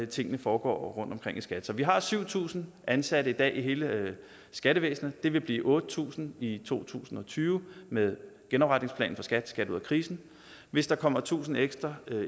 tingene foregår rundtomkring i skat så vi har syv tusind ansatte i dag i hele skattevæsenet det vil blive otte tusind i to tusind og tyve med genopretningsplanen for skat skat ud af krisen hvis der kommer tusind ekstra